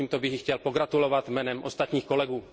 Takže tímto bych jí chtěl pogratulovat jménem ostatních kolegů.